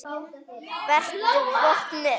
Vertu vopnuð.